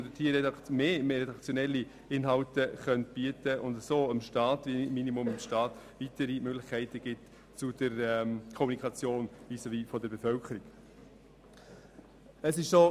Sie könnten vermehrt redaktionelle Inhalte publizieren und so zumindest dem Staat weitere Möglichkeiten zur Kommunikation mit der Bevölkerung bieten.